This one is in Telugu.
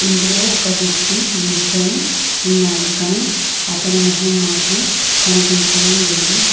ఇందులో ఒక వ్యక్తి నిల్చొని ఉన్నాడు కనీ అతని మొహం మాత్రం కనిపించడం లేదు.